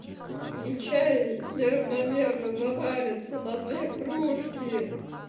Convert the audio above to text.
и чай неравномерно заварится на две кружки